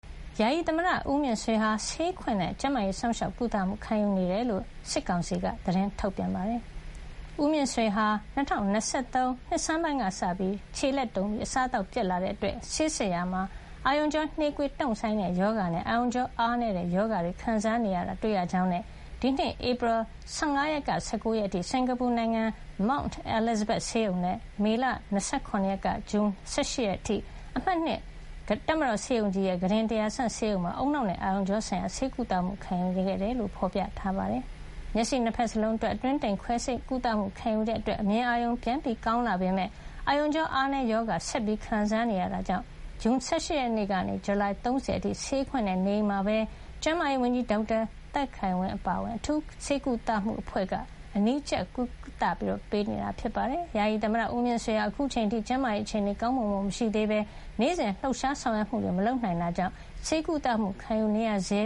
ယာယီသမ္မတဦးမြင့်ဆွေဟာ ဆေးခွင့်နဲ့ ကျန်းမာရေးစောင့်ရှောက်ကုသမှု ခံယူနေတယ်လို့ စစ်ကောင်စီက သတင်းထုတ်ပြန်ပါတယ်။ ဦးမြင့်ဆွေဟာ ၂၀၂၃ နှစ်ဆန်းပိုင်းကစပြီး - ခြေလက်တုန်ပြီး အစားသောက်ပျက်တဲ့ အတွက် ဆေးစစ်ရာမှာ အာရုံကြောနှေးကွေးတုန့်ဆိုင်းတဲ့ရောဂါနဲ့ အာရုံကြောအားနည်းတဲ့ရောဂါတွေခံစားနေရတာကို တွေ့ရကြောင်းနဲ့ ဒီနှစ် ဧပြီလ ၁၅ ကနေ ၁၉ ရက်နေ့အထိ စင်္ကာပူနိုင်ငံ Mount Elizabeth ဆေးရုံနဲ့ မေလ ၂၇ ရက်နေ့ကနေ ဇွန် ၁၈ ရက်နေ့အထိ အမှတ် ၂ တပ်မတော်ဆေးရုံကြီး ကုတင် ၁,၀၀၀ မှာ ဦးနှောက်နဲ့အာရုံကြောဆိုင်ရာ ဆေးကုသမှုခံယူခဲ့ရတယ်လို့ ဖေါ်ပြထားပါတယ်။ ဆေးရုံတက်နေစဉ်အတွင်း မျက်စိ ၂ ဘက်စလုံး အတွင်းတိမ် ခွဲစိတ်ကုသမှုခံယူခဲ့တဲ့ အတွက် အမြင်အာရုံ ပြန်ကောင်းလာပေမယ့် အာရုံကြောအားနည်းရောဂါ ဆက်လက်ခံစားနေရတဲ့အတွက် ဇွန်လ ၁၈ ရက်နေ့ကနေ ဇူလိုင် ၃၀ အထိ ဆေးခွင့်နဲ့ နေအိမ်မှာပဲ စစ်ကောင်စီကျန်းမာရေးဝန်ကြီး ဒေါက်တာသက်ခိုင်ဝင်းအပါအဝင် အထူးဆေးကုသမှု အဖွဲ့က အနီးကပ်ကြီးကြပ်ကုသပေးနေတယ်လို့ဆိုပါတယ်။ ဦးမြင့်ဆွေဟာ အခုချိန်အထိ ကျန်းမာရေးအခြေနေ တိုးတက်ကောင်းမွန်မလာသေးဘဲ နေ့စဉ်လှုပ်ရှားဆောင်ရွက်မှုတွေမလုပ်နိုင်တဲ့အတွက် ဆေးကုသမှုခံယူနေရဆဲ